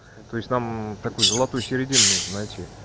то есть нам такую золотую середину нужно найти